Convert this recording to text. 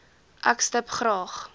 ek stip graag